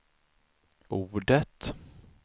ordet